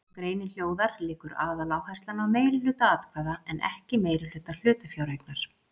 Eins og greinin hljóðar liggur aðaláherslan á meirihluta atkvæða en ekki meirihluta hlutafjáreignar.